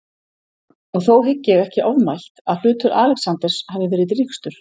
Og þó hygg ég ekki ofmælt, að hlutur Alexanders hafi verið drýgstur.